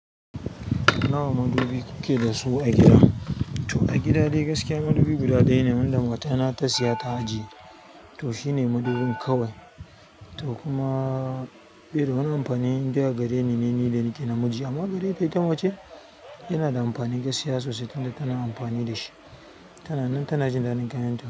Nawa madubi kuke da su a gida? To a gida dai gaskiya madubi guda ɗaya ne wanda mata na ta siya ta ajiye. To shine madubin kawai to kuma, irin wani amfani indai a gare ni ne? Ni da nake namiji amma gare ta ita mace. Yana da amfani gaskiya sosai tunda tana amfani da shi. Tana nan tana jin daɗin kayanta.